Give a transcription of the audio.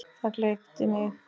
Það gleypti mig.